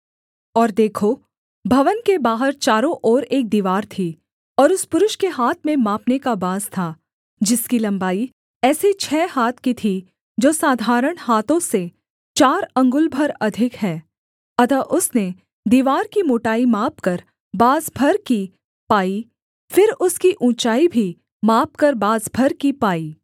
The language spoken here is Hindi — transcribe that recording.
और देखो भवन के बाहर चारों ओर एक दीवार थी और उस पुरुष के हाथ में मापने का बाँस था जिसकी लम्बाई ऐसे छः हाथ की थी जो साधारण हाथों से चार अंगुल भर अधिक है अतः उसने दीवार की मोटाई मापकर बाँस भर की पाई फिर उसकी ऊँचाई भी मापकर बाँस भर की पाई